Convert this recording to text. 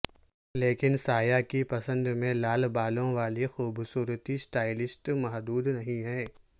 لیکن سایہ کی پسند میں لال بالوں والی خوبصورتی سٹائلسٹ محدود نہیں ہیں